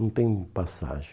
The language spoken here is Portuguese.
Não tem passagem.